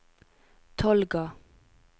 Tolga